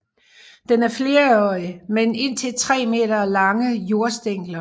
Den er flerårig med indtil 3 meter lange jordstængler